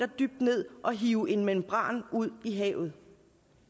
dybt ned og hive en membran ud i havet